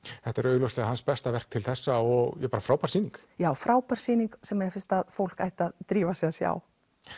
þetta er augljóslega besta verk Tyrfings til þessa og frábær sýning ekki já frábær sýning sem mér finnst að fólk ætti að drífa sig að sjá